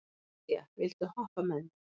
Viðja, viltu hoppa með mér?